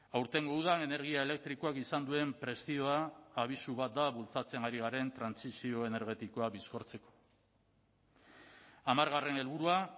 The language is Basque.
aurtengo udan energia elektrikoak izan duen prezioa abisu bat da bultzatzen ari garen trantsizio energetikoa bizkortzeko hamargarren helburua